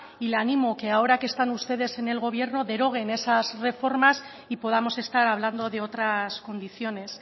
y le animo que ahora que están ustedes en el gobierno deroguen esas reformas y podamos estar hablando de otras condiciones